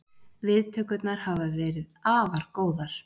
Viðtökurnar hafa verið afar góðar